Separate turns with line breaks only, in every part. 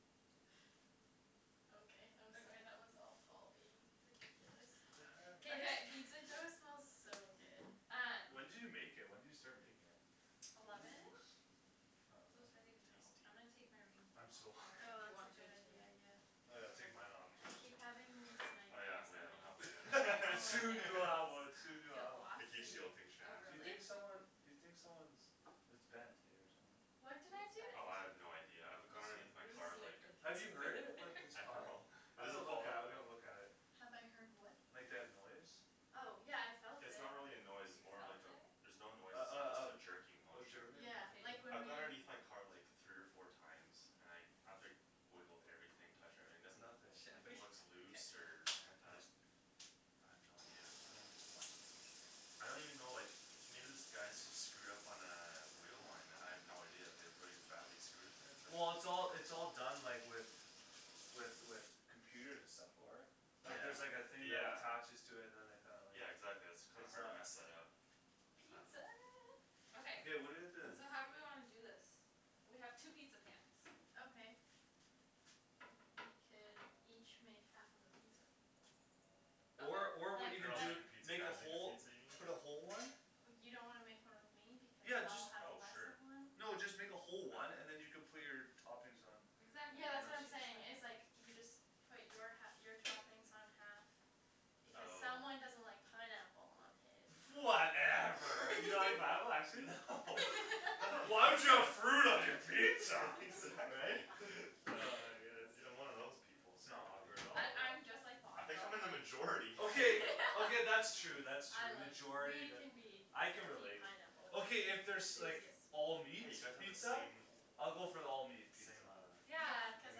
Okay I'm sorry that was all Paul being ridiculous
What
Oh
the
K
heck?
this
guy-
pizza dough smells so good
Um
When did you make it? When did you start making it?
Ooh
eleven-ish? So it's ready to go. I'm gonna take my rings
Tasty
I'm so
off, I don't
hungry
know
Oh
if you
that's
want
a
to
good
too
idea, yeah
Oh yeah I'll take mine off, too,
I
here
keep having these
Oh yeah,
nightmares
oh yeah
that my engagement
I don't
ring
have one
will like
yet
Soon
get
you'll have
lost
one, soon you'll
Get
have one
lost?
I keep
Mhm
guilting
Oh
Shan
You think
really?
someone you think someone's it's bent eh, or something
What
What's
did I
bent?
do?
Oh I have no idea, I've
That's
gone underneath my car
so
like
Have you heard it? With this
I
car?
know It
I've to
doesn't
look
fall
at it,
out
I've
though
gotta look at it
Have I heard what?
Like that noise?
Oh, yeah I felt it
It's not really a noise, it's
You
more
felt
like a
it?
there's no noise
Uh
it's just a
uh
jerking motion
uh
Yeah,
K
like when
I've gone
we-
underneath my car like three or four times and I I've like wiggled everything, touched everything, there's
Nothing
Should we?
nothing looks
K
loose or bent, I
Hm
just I have no idea
Huh
I don't even know like, maybe this guy's just screwed up on a wheel line and I have no idea, I have really badly screwed it but
Well it's all it's all done like with with with computers and stuff, for it Like there's like a
Yeah,
thing that
yeah
attaches to it and then they kinda like
Yeah exactly, that's kinda
it's
hard to
not
mess that up I dunno
Pizza
Okay
Okay what do we have to
so how do we wanna do this? We have two pizza pans
Okay We could each make half of a pizza
Or or what you
Like
could
girls
do
make a pizza,
make a
guys make a
whole
pizza, you
put a whole
mean?
one
You don't wanna make one with me because
Yeah,
I'll
just
have
Oh
less
sure
of one?
No, just make a whole one and then you can put your toppings on You
Exactly,
Yeah that's
that's
what
what
I'm
she was
know?
saying
saying, is like you just put your hal- your toppings on half, because someone
Oh
doesn't like pineapple on his
Whatever You don't like pineapple, actually? Why would you have fruit on your pizza? Right?
Exactly
Ah, I guess
I'm one of those people, sorry
S'not awkward
dude
at all,
I- I'm
yeah
just like Paul,
I
I
think I'm
don't
in the
like
majority
Okay, okay that's true, that's
I
true,
like
majority that, I can relate
pineapple
Okay if there's like, all meat
Hey you guys have the
pizza?
same, same
I'll
uh
go for the all meat pizza
Yeah, cuz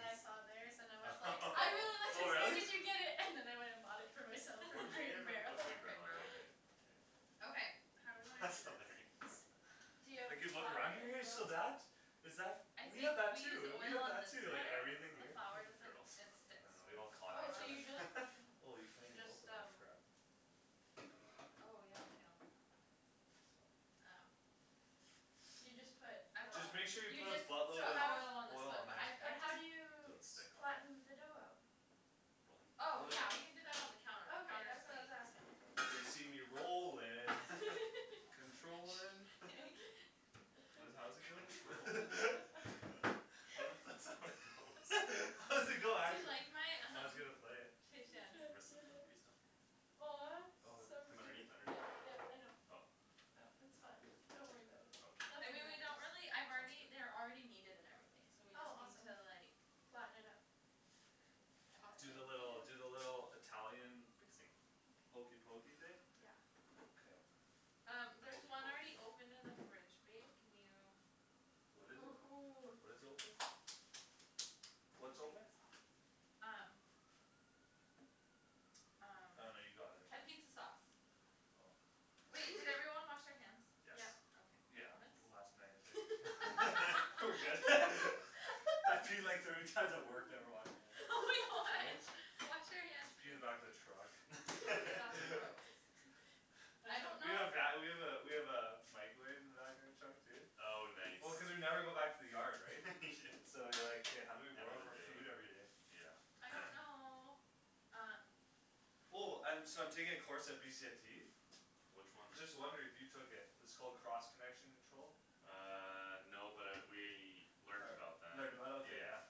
I saw theirs and I was like, I really like
Oh
this where
really?
did you get it? And then I went and bought it for myself
Where
from
did you
Crate
get it
and
from?
Crate
Barrel
Oh Crate and
and
Barrel right right
Barrel
Yeah
Okay, how do we wanna
That's
do
hilarious
this?
D'you have
you look
flour
around
in
here,
your?
Is that
I
f- we
think
have that
we use
too, we
oil
have
on
that
this
too,
one,
like
Yeah
everything
the
here
flour
r-
doesn't
girls,
it
I
sticks
yeah
know, we
when there's
all
a
Oh,
flour on
so you
it
each
just
other Oh you can't
You
even
just,
open that
um
crap
Oh yeah, we can't open that. Okay
It's fine
Um
So you just put uh,
Just make sure you
you
put a
just so
So
buttload of
oil on this
oil
one
all
on
but
there
I've I
but how do you
just
Don't
s-
stick on it?
flatten the dough out?
Rolling?
Oh
Oh yeah
yeah, we can do that on the counter, the
Okay,
counter's
that's what
clean
I was asking
They see me rollin', controllin'
Shh
What does it how
Controllin'?
does it go?
I don't th- that's how it goes
How does it go,
Do you
actually?
like my,
I was
um,
gonna play it
He can't
Rest of it
get
one
it
piece down here
Aw.
Oh,
So
From
put
cute,
underneath, underneath?
yeah yeah I know
Oh
Oh,
k
It's fine, don't worry about it
I
Nothing
mean
Okay,
we
matters
don't really I've
sounds
already they're
good
already kneaded and everything, so we
Oh
just need
awesome
to like
Flatten it out
Toss
Do the little
it
do the little Italian
Fixing
hokey
Okay
pokey thing?
Yeah
K
Um,
The
there's
hokey
one already
pokey?
open in the fridge, babe, can you
What is it?
Woohoo.
What is open? What's open?
Um Um,
Oh no you got it
capizza sauce
Oh
Wait, did everyone wash their hands?
Yes
Yep
Yeah,
Okay. Thomas?
last night I think We're good I peed like thirty times at work, never washed
Oh my
my hands,
god,
eh?
wash your hands please
Just pee in the back of the truck
K, that's gross I don't
We
know
have va- we have a we have a microwave in the back of our truck too
Oh nice
Well cuz we never go back to the yard, right? So like,
Yeah
how do we warm up our
Everyday,
food everyday?
yeah
I don't know, um
Oh um so I'm taking a course at BCIT?
Which one?
Just wondering if you took it, it's called cross connection control?
Uh no, but I we learned about that,
Learned about it? Ok yeah
yeah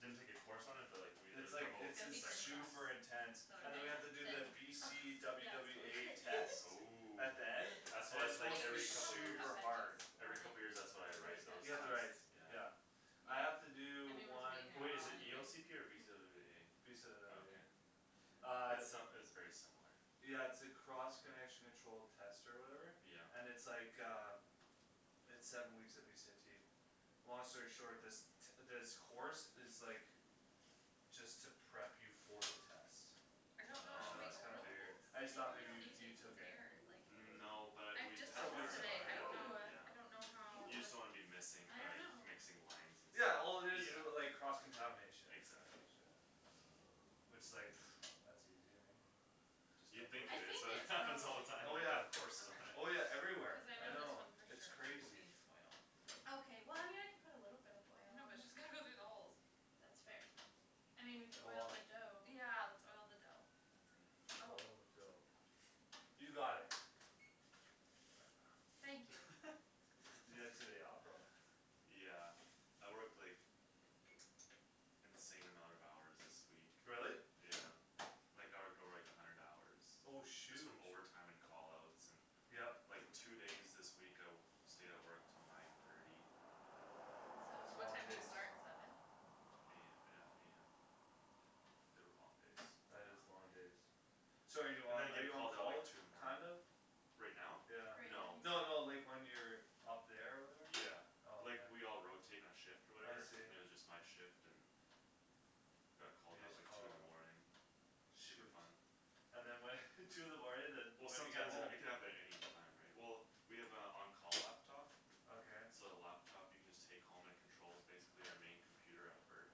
Didn't take a course on it but like we had
It's like,
It's
it's
gonna
in
be thin
to
crust
super intense
Ugh
And then
Is
we have to
that
do the
ok?
B
Thin
C
crust
W
yeah it's
W
totally
A
great
test.
Ooh
At the end.
That's
And
wha-
it's
it's like
supposed
Hey,
to be
we
every
should like
couple years
this,
super hard
or
Every
like,
couple years that's what I
cuz they're
write,
just
those
You have
tests?
gonna
to write,
Yeah
yeah I
Yeah
have to
I
do
mean
one
Wai- is it E
anyways
O C P or B C W W
Mm.
B
A? Okay
Uh
It's uh it's very similar
Yeah it's a cross connection control test or whatever?
Yeah
And it's like uh It's seven weeks at BCIT Long story short, this t- this course is like, just to prep you for the test
I don't know,
And
should we
Oh.
that's kinda
oil
weird I
this?
okay
just
They
thought
do it
maybe
on
you you
YouTube so
took
it's
it
air, like
No, but
I've
we
just
had
bought
to
Somewhat
this
learn that, how to
similar,
today, I
do
yeah
don't know,
that,
Ooh
I don't know
yeah
how
Ew,
You just don't wanna be missing
I
uh
dunno
mixing lines and stuff,
Yeah, all it is is like, cross
yeah
contamination
Exactly
Which is like, that's easy right, I mean Just
You'd
don't put
think
I
it is,
think
but it
it's
happens all the
probably
time
Oh
which is we
yeah,
have courses on it
oh
Okay,
yeah everywhere,
cuz I
I
know this
know,
one for
it's
sure
crazy
needs oil
Okay well I mean I can put a little bit of oil
No
on
but
it
just gonna go through the holes
That's fair I mean we could oil
Cool
the dough
Yeah, let's oil the dough. That's a good idea. Oh,
Oil the dough
how should
You got
we
it Whatever.
Thank you
Did you get today off, or what?
Yeah, I worked like, insane amount of hours this week
Really?
Yeah, like I would go like a hundred hours
Oh
Just from
shoot
overtime and call outs, and
Yep
like two days this week I w- stayed at work till nine thirty
That's
And what
long
time
So
do you
days
start, seven?
A- yeah, AM.
Mm,
They were long days
that's a
That is long
long day
days So are you
I'm
on
gonna
are
get
you on
called out
call,
like
t-
two in the morning
kind of?
Right now?
Yeah
Right
No
now
No no,
he's
like when you're up there or whatever?
Yeah,
Oh okay
like we all rotate our shift or
I
whatever,
see
and it was just my shift and Got called
You
out
just
like
call
two in
a
the
lot
morning, super
Shoot
fun
And then what two in the morning then
Well
when do you get
sometimes it
home?
it could happen at any time, right? Well, we have a on call laptop
Okay
So the laptop you can just take home and it controls basically our main computer at work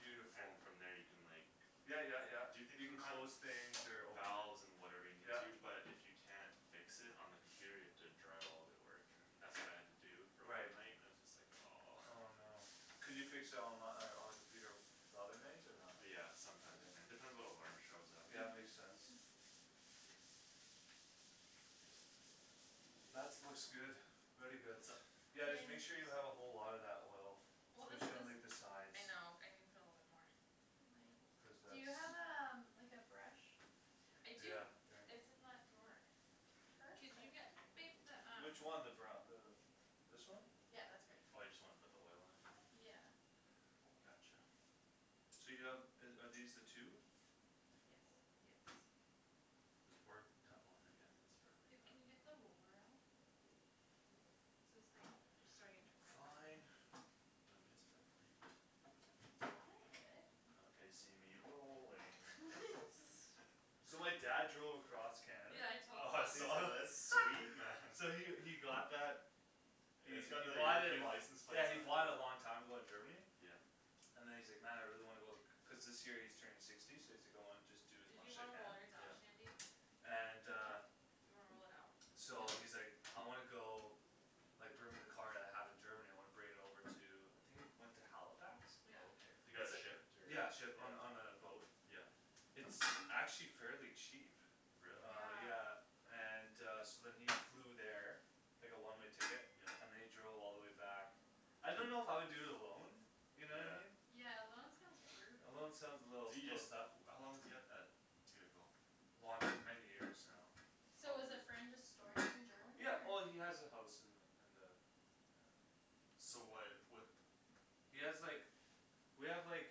Beautiful
And from there you can like,
Yeah yeah yeah,
do things
you can
from
close things or open
Valves and whatever you need
Yeah
to, but if you can't fix it on the computer you have to drive all way to work and that's what I had to do for one
Right
night, it was just like aw
Oh no Could you fix it onli- on the computer the other nights, or not?
Yeah, sometimes you can, depends what alarm shows up
Yeah, makes sense That's looks good, very good
What's up?
Yeah just make
Thanks
sure you have a whole lotta that oil,
Well this
specially on like the
this,
sides
I know, I needa put a little bit more
Cuz
Do
that's
you have a um- like a brush?
I do,
Yeah, here
it's in that drawer Could
Perfect
you get babe the um
Which one, the bru- the, this one?
Yeah, that's great
Oh you just wanna put the oil on even?
Yeah
Gotcha
So you have uh are these the two?
Yes
Yes
This part, tap on that yeah, then spread it like
Babe,
that
can you get the roller out? So it's like, starting to rip a
Fine
bit
You want me to spread it, or
I'm
you good?
good
Okay
They see me rolling So my dad drove across Canada
Yeah, I told them.
Oh I saw that, that's sweet man
Yeah we we got that, we we bought it lo-
license plate
yeah we bought it a long time ago in Germany
Yeah
And then he's like, man I really wanna go, cuz this year he's turning sixty so he's like going just do as
Did
much
you
as he
wanna
can
roll yours out,
Yeah
Shandy?
And
Do I
uh
what?
Do you wanna roll it out?
So
Nope
he's like, I wanna go, like bring my car that I have in Germany, I wanna bring it over to, I think it went to Halifax?
Okay,
Yeah
it got shipped or, yeah
Yeah, shipped on on a boat
Yeah
It's actually fairly cheap
Really?
Uh
Yeah
yeah, and uh so then he flew there Like a one-way ticket,
Yeah
and then he drove all the way back I don't know if I would do it alone, you know?
Yeah
Yeah, alone sounds brutal
Alone sounds a little,
Do you
little
just
tough
how long does he have that vehicle?
Long- many years now,
So
Mm.
was a
probably
friend just storing it in Germany
Yeah, well he
or?
has a house in the in the uh
So why'd what
He has like we have like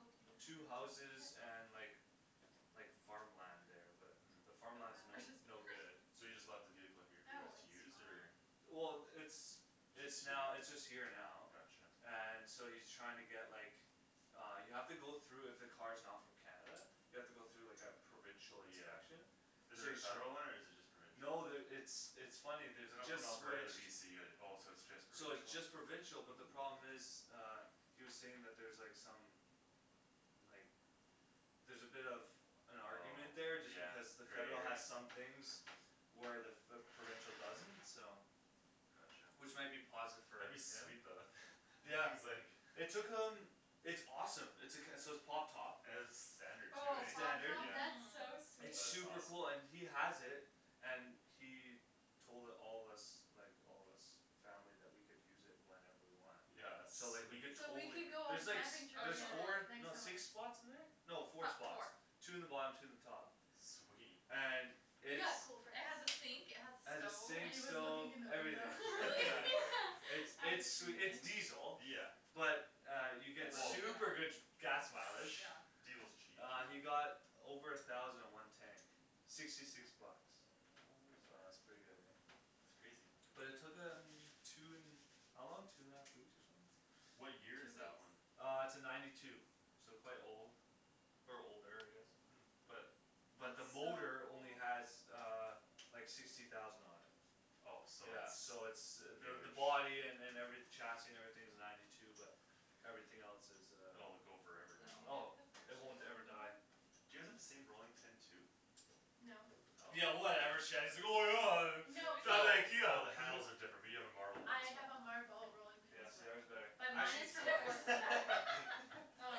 Oh can you move
two
that to
houses
the back?
Yeah
and like like farmland there, but the
The
farmland's
Mhm.
no
batter's just
no good
So he
perf-
just left the vehicle here for you
Oh,
guys to
it's
use, or
fine
Well, it's it's now it's just
Just here?
here now
Gotcha
And so he's trying to get like, uh you have to go though if a car's not from Canada, you have to go through like a provincial
Yeah
inspection
Is
So
there a
he's tr-
federal one or is it just
No,
provincial?
there it's it's funny, there's
So
a
not
just
from Alberta to
switched
BC, it oh it's just
So it's just
provincial?
provincial, but the
Ooh
problem is uh, he was saying that's there like some like, there's a bit of an argument
Oh
there just
yeah,
because the federal
there
has
is
some things where the- f- the provincial doesn't, so
Gotcha
Which might be positive for
That'd be
like
sweet though, that
him
th-
Yeah,
he's like
it took him, it's awesome, it's a c- so it's pop top
It's standard too,
Oh,
right?
pop
Standard.
top?
Yeah
That's so
Mm
sweet
That's
It's
awesome
super cool and he has it And he told it- all of us, like all us family that we could use it whenever we want
Yeah that's
So like we
sweet
could
So we could
totally
go on
there's like
camping
s-
trip
Oh
there's
together
four,
totally
next
no
summer
six spots in there? No
Fo-
four spots,
four
two in the bottom two in the top
Sweet
And it's
Yeah, cool friends
It has a sink, it has
It
a
has a
stove
And
sink,
he was looking
stove,
in the
Oh
everything,
window
really?
yeah It's
Yeah
it's it's diesel,
Yeah
but uh you get
Well
super good gas mileage
Yeah
Diesel's cheap,
Uh
dude
you got over a thousand in one tank, sixty six bucks
Oh,
So that's
man.
pretty good eh
That's crazy
Well it took him, two n- how long, two and a half weeks or something?
Two
What year is
weeks
that one?
Uh it's a ninety two, so quite old Or older, I guess
Hmm
But but the
That's so
motor
old
only has uh like sixty thousand on it
Oh so
Yeah so it's
it's
the the
new-ish
body an- and every chassis and everything's ninety two but everything else is uh
Oh, it go
Did you
forever
Oh,
now
get the
it won't ever
open?
die
Do you all have the same rolling pin too?
No
Oh
Yeah From
No,
No. I
oh
IKEA
the handles are different, we have a marble one as
have a
well
marble rolling pin
Yeah,
as well
yours is better.
But
I
mine
can't
is from Portland All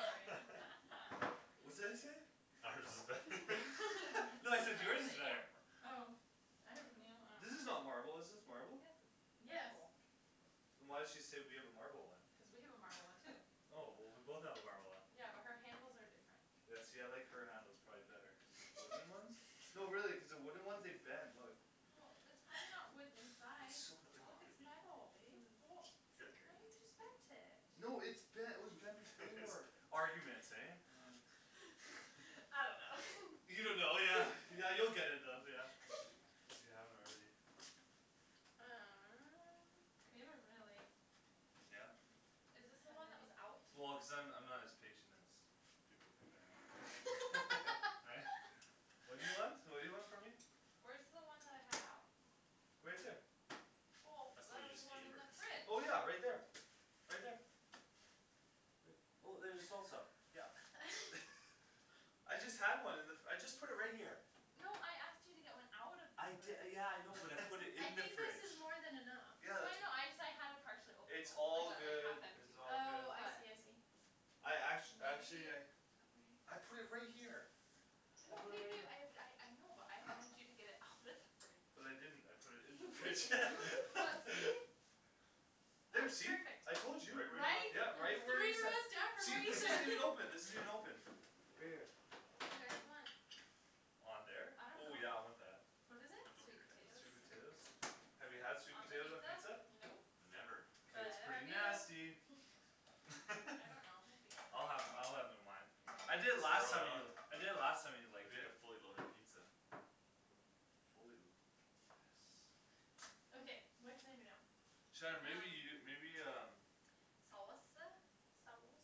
right
What's that you say?
Ours is better
No I said yours is better
Yapper
Oh I don't know
Yours is not marble, is this
Yes it's
marble?
Yes
marble
Oh. Then why'd she say we have a marble
Cuz
one?
we have a marble one too
Oh, well we both have a marble one
Yeah, but her handles are different
Yeah see I like her handles probably better cuz the wooden ones no really cuz the wooden ones, they bend, look
Well, that's probably not wood inside,
It's so
look it's metal babe Oh,
Mm
why you
Great
just bent it
No it's bent it was bent before
It's
Arguments,
bent
eh? Uh
I don't know
You don't know, yeah yeah you'll get it bent yeah, if you if you haven't already
Uh
We haven't really
Yeah?
Is this the
How
one that was
are
out?
we
Well
going
cuz I'm I'm not
to
as patient as people think I am Yeah, right? What do you want? What do you want from me?
Where's the one that I had out?
Right there
Well,
That's the one
there
you
was
just
one
gave
in
her
the fridge
Well yeah right there, right there Right well there's the salsa, yeah I just had one in the f- I just put it right here
No, I asked you to get one out of
I
the
di-
fridge
yeah I know, but I put it
I
in the
think this
fridge
is more than enough
Yeah,
No I
that's it-
know,
ju-
I just- I had a partially open
it's
one,
all
like a like
good,
half
it's
empty one,
all good
Oh I
but
see I see
I act- actually
Maybe
I I put
oh wait
it right here I
No,
put it
babe
right
babe,
here
I had a I know, but I wanted you to get it out of the fridge
But I didn't, I put it in the
You put it
fridge
in the fridge. Well see?
Oh,
There see,
perfect
I told you!
Right where you
Right?
left it
Yeah,
Three
right, where you ta-
rows down from where
see this isn't even
you
open, this isn't even open Right here
Do you guys want
On there?
I don't
Ooh yeah
know
I want that
What is it?
Sweet potatoes
Sweet potatoes? Have you had sweet
On the
potatoes on
pizza?
pizza?
Nope
Never
K.
But
It's
neither
pretty
have you
nasty
I don't know, might be
I'll
good
have I'll have it on mine I
Yeah
did
I
last
Load it
time
know
you do it,
on,
I did it last time and I liked
make a
it
fully loaded pizza
Fully lu- yes
Okay, what can I do now
Shan, maybe you, maybe um
Um. Saus- uh?
Sauce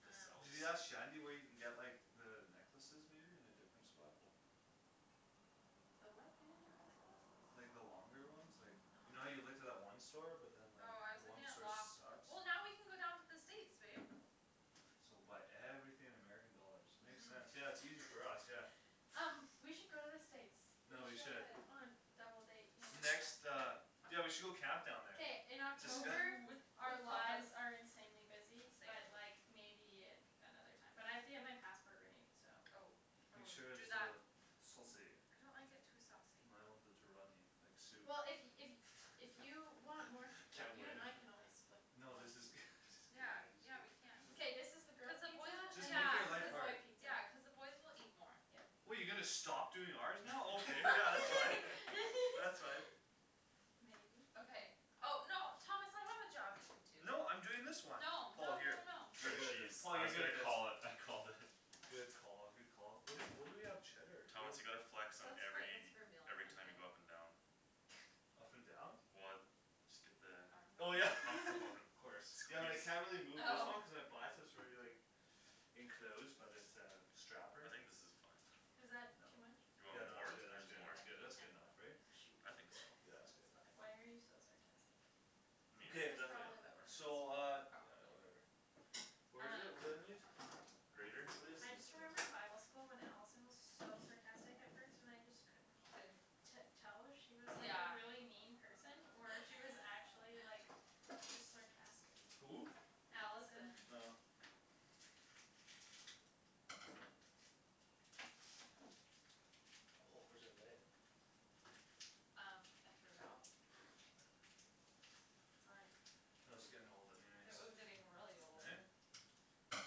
The sauce
Did you ask Shandy where you can get like the necklaces maybe in a different spot?
Oh.
The what in a
What
different spot?
Like the
necklaces?
longer ones like, you know how you looked at
uh-huh
that one store but then like,
Oh, I
the
was
one
looking at
store
Loft
sucks?
Well now we can go down to the States, babe
So buy everything in American dollars, makes sense, yeah
Mhm
it's easier for us, yeah
Um, we should go to the States
We
No, we should
should
On a double date, yeah
Next uh, yeah we should go camp down there
K, in October
Ooh, with
our
our lies
lives are insanely busy but like, maybe another time But I have to get my passport renewed so
Oh, oh
Make sure
do
it's
that
uh, saucy
I don't like it too saucy
too runny, like soup
Well if if if you want more s-
Can't
you and
win
I can always split
No this is good, this is good
Yea, yeah we can
K,
I
this is the
Yeah,
just
girls
cuz
pizza, and
Just make
then this is the boy
it
pizza
the boys will eat more
Yeah
What you gonna stop doing ours now? Okay yeah, you can. That's right
Maybe
Okay oh, no Thomas I have a job you can do
No I'm doing this one
No,
Paul
no
here
no no
Shred cheese, Tom I was gonna call it, I called it
Good call, good call. Where do- where do we have cheddar? Do we
Thomas you gotta flex on
That's for- that's
every,
for meal on
every time you
Monday
go up and down
and down?
Well, just get the
Oh yeah
Armband?
optimum
Of course. Yeah well
squeeze
I can't really move this
Oh
one cuz I buy it so it's already like enclosed by this uh strapper
I think this is fine
Is
No,
that
No.
too much?
you
Way too much,
Yeah
I
want
no
no-
that's
more?
good that's good
more
that's
I
good
can't
that's good
handle
enough,
it
right?
Shoot.
I think so. Yeah it's good
Sounds
Why
fine
are you so sarcastic?
Meat,
Good,
That's
definitely
probably why we're
add
so uh,
more
friends
Probably
yeah, whatever.
Um
Grater?
What is
I
this
just
thing?
remembered bible school when Allison was so sarcastic at first and I just couldn't-
Didn't
t- tell if she was like a
Yeah
really mean person or if she was actually like, just sarcastic
Who?
Allison
Allison
Oh Oh where's
Um, I threw it out?
Whatever
Sorry
It was getting old anyways
It was getting really old
Eh?
It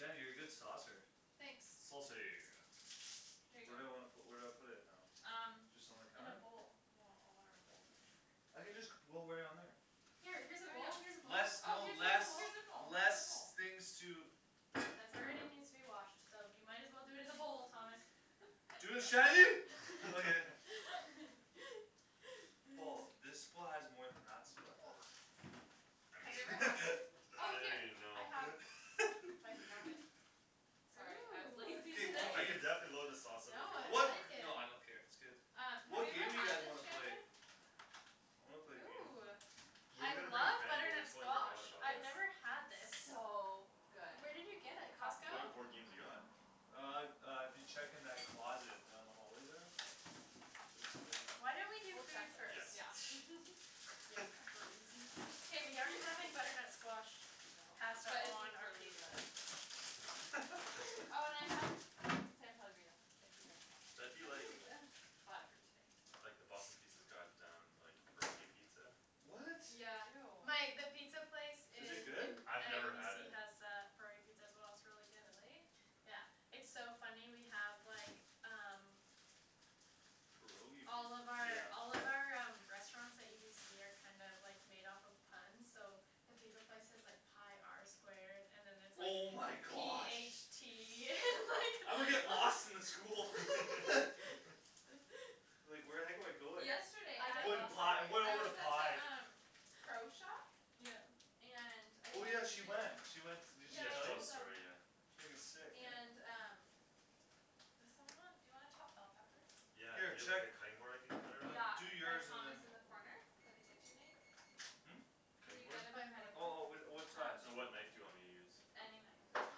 was like
you're a good saucer
Thanks
Saucy
There you
Where do I
go
wanna pu- where do I put it now?
Um
Just on the
In a
counter?
bowl
Well all our bowls are in there
I can just c- roll right on there
Here, here's a bowl,
Oh
here's a
yeah
bowl oh
Less no
here's a
less,
bowl, here's a
less things to
bowl. That's already needs to be washed, so you might as well do it in the bowl, Thomas
Dude, Shandy? Okay
Wa
I
Have you ever
mean,
had this? Oh
I don't
here,
even
I
know
have, if I can grab it Sorry, I was lazy
K,
today
what
Ooh
I
game?
could definitely load the sauce up
No
if you
I
want
What
more
like it
Uh, have you
What
ever
game do you
had
guys
this,
wanna play?
Shandryn?
I wanna play a game
Ooh,
Where we
I
gonna bring
love
we
butternut
totally
squash,
forgot about
I've
it
never had this
It's so good
Where did you get it, Costco?
What
Costco,
board games you got?
mhm
Uh, uh dude check in that closet, down the hallway there? There's some in
Why don't we
there
do
We'll check
food first?
Yeah
later, yeah
K we aren't having butternut squash
No,
pasta
but it's
on our
really
pizza
good Oh and I have San Pellegrino, if you guys want
That'd be like,
it
Ooh
Bought it for you today, so
like the Boston Pizza's got um, pierogi pizza
What?
My- the
Ew
pizza place
Is it
in
good?
I've never had
UBC
it
has a curry pizza as well, it's really good
Really?
Yeah, it's so funny we have like, um
Pierogi
All
pizza
of our all of
Yeah
our um restaurants at UBC are kind of like made off of puns, so the pizza place is like pi R squared, and then it's like
Oh my
p h
gosh
tea
I would
and
get lost in the school
like
Like where the heck am I going?
Yesterday
I'm
I
going to pi, I'm going
I
over to
was at
pi
the um Pro shop?
Yeah
And I
Oh yeah,
had
she went, she
to
went s- did she
Yeah
Yeah,
I
she
tell
told
you?
us
told
the
them
story, yeah
Frigging sick,
And
man
um Does someone want dou you wanna chop bell peppers?
Yeah, do
Here,
you have like
check
a cutting board I could cut it on?
Yeah,
Like, do
by
yours and
Thomas
then
in the corner? By the KitchenAid?
Hm?
Can
Cutting
you
board?
get him my cutting
Oh oh
board?
whi- uh, what size?
Um
And what knife do you want me to use?
Any knife, doesn't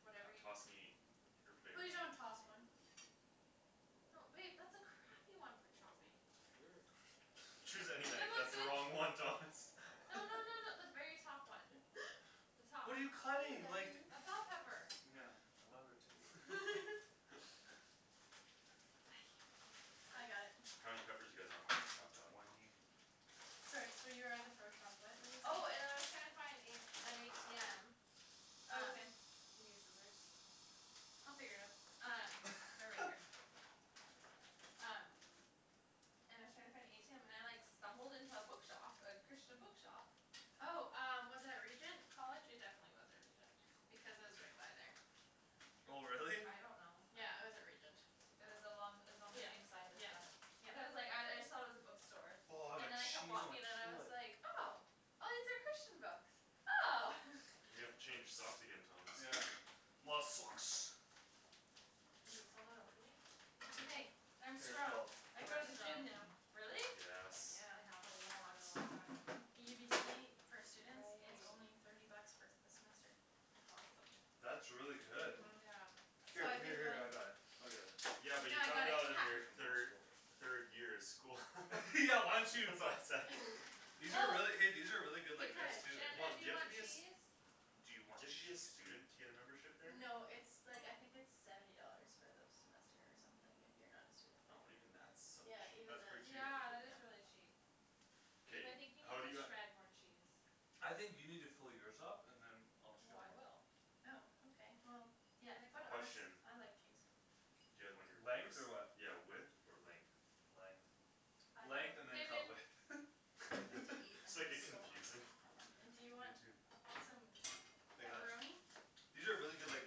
matter
T-
Whatever you
toss me your
Please,
favorite one
don't toss one
No babe, that's a crappy one for chopping
You're a cra-
Choose any
Give
knife,
him a
that's the
good,
wrong
no
one Thomas
no no no the very top one The top
What are you cutting? Like
A bell pepper
Yeah, I love her too
I can't, I
I got
need
it
How many peppers do you guys want me to
Like
chop up?
twenty
Sorry so you were at the pro shop, what were you saying
Oh and I was trying to find in an ATM
Oh
Um,
okay
do you need scissors
They'll figure it out
Um, they're right here Um And I was trying to find a ATM and I like stumbled into a bookshop, a Christian bookshop
Oh um, was it at Regent College? It definitely wasn't Regent, because I was right by there
Oh really?
I don't know
Yeah, I was at Regent
It was along, it was on the same
Yep,
side as
yep,
the, but I was like, I I
yep
thought it was a bookstore,
Aw,
and
that
then I kept
cheese
walking and I was
on
like, oh, these are Christian books! Oh!
You gotta change your socks again, Thomas
Yeah My socks
Is it still not opening?
It's okay, I'm
Here
strong,
Paul
I
You
go
are
to the
strong.
gym now
Really?
Yes
Yeah,
I
a
haven't gone in a
lot
really long time
UBC, for students, it's
Awesome
only
Right
thirty bucks for s- the semester
That's awesome
That's really good
Mhm
Yeah
Here,
What?
here here I got it, I'll get it
Yeah but
No
you
I got
found
it,
out in
hah
your thir- third year of school
Yeah why don't
That's
you
why was like
These are really, hey
Oh
these are really good like veg
Because
too,
Hold
Shandryn,
on,
do
do
you
you have to
want
be a
eh
s-
cheese?
Do
Do
you want
you have to be a
cheese?
student to get a membership there?
No it's like I think it's seventy dollars for the semester or something if you're not a student there
Oh even that's so
Yeah,
cheap
even
That's
that
pretty cheap
Yeah, that is really cheap Babe
K,
I think you need
how'd you
to
got
shred more cheese
I think you need to fill yours up, and then
Oh I will
Oh ok well,
Yeah,
yeah,
put it
Question
I
on
like cheese
Do you guys want your
Length?
peppers,
Or what
yeah width or length?
Length Length and then
K,
cut
babe
width
I need to eat,
Just
I'm
make
like
it
so
confusing
hungry
And do you
You
want
too
some
I got ch-
pepperoni?
These are really good like